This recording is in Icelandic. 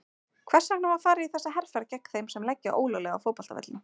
Hvers vegna var farið í þessa herferð gegn þeim sem leggja ólöglega á fótboltavöllum?